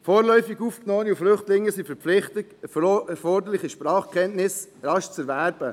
Vorläufig Aufgenommene und Flüchtlinge sind verpflichtet, erforderliche Sprachkenntnisse rasch zu erwerben.